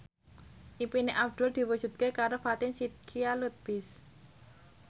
impine Abdul diwujudke karo Fatin Shidqia Lubis